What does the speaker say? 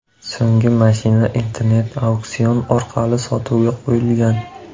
So‘nggi mashina internet-auksion orqali sotuvga qo‘yilgan.